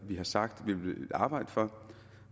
vi har sagt at vi ville arbejde for